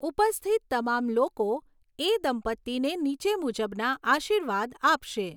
ઉપસ્થિત તમામ લોકો એ દંપતિને નીચે મુજબના આશીર્વાદ આપશે.